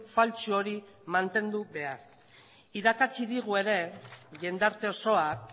faltsu hori mantendu behar irakatsi digu ere jendarte osoak